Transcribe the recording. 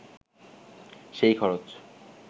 সেই খরচ